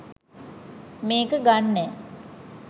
මේක ගන්නෑ